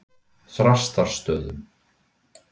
Þrastarstöðum